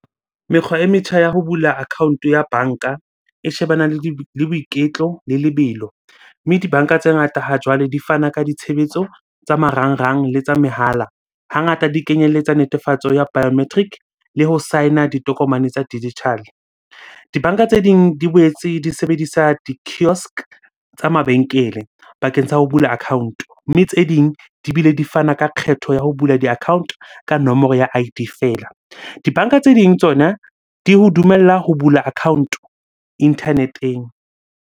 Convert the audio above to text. Mekgwa e metjha ya ho bula account-o ya banka e shebana le boiketlo le lebelo. Mme dibanka tse ngata ha jwale di fana ka ditshebetso tsa marangrang le tsa mehala. Hangata di kenyelletsa netefatso ya biometric le ho sign-a ditokomane tsa digital-e. Dibanka tse ding di boetse di sebedisa di-kiosk tsa mabenkele bakeng sa ho bula account-o, mme tse ding di bile di fana ka kgetho ya ho bula di-account-o ka nomoro ya I_D feela. Dibanka tse ding tsona di ho dumella ho bula account-o internet-eng